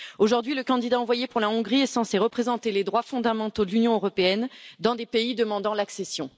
Aujourd'hui, le candidat envoyé pour la Hongrie est censé représenter les droits fondamentaux de l'Union européenne dans des pays demandant l'adhésion.